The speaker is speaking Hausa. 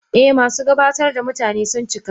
Eh, masu gabatar da mutane sun cika.